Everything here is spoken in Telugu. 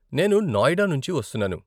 నేను నోయిడా నుంచి వస్తున్నాను.